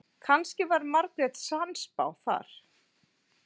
Kannski var Margrét sannspá þar.